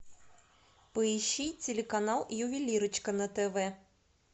поищи телеканал ювелирочка на тв